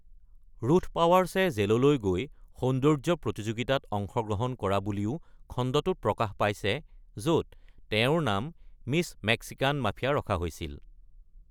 Ruth পাৱাৰ্ছে জেললৈ গৈ সৌন্দৰ্য্য প্ৰতিযোগিতাত অংশগ্ৰহণ কৰা বুলিও খণ্ডটোত প্ৰকাশ পাইছে য'ত তেওঁৰ নাম "মিছ মেক্সিকান মাফিয়া" ৰখা হৈছিল।